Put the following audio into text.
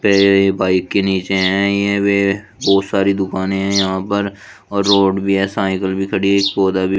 ये ये बाइक के नीचे हैं ये वे बहुत सारी दुकानें हैं यहां पर और रोड भी है साइकिल भी खड़ी है एक पौधा भी--